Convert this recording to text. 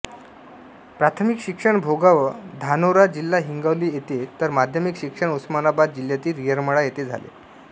प्राथमिक शिक्षण भोगाव धानोरा जि हिगोली येथे तर माध्यमिक शिक्षण उस्मानाबाद जिल्ह्यातील येरमाळा येथे झाले